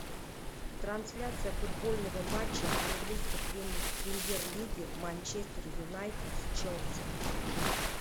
трансляция футбольного матча английской премьер лиги манчестер юнайтед с челси